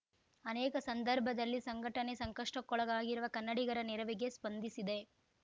ಅನೇಕ ಸಂದರ್ಭದಲ್ಲಿ ಸಂಘಟನೆ ಸಂಕಷ್ಟಕ್ಕೊಳಗಾಗಿರುವ ಕನ್ನಡಿಗರ ನೆರವಿಗೆ ಸ್ಪಂದಿಸಿದೆ